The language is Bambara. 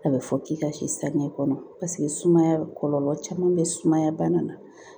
A bɛ fɔ k'i ka si saniya kɔnɔ paseke sumaya kɔlɔlɔ caman bɛ sumaya bana na